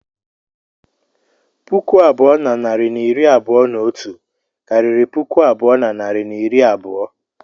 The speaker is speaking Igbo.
Puku abụọ na narị na iri abụọ na otu karịrị puku abụọ na narị na iri abụọ.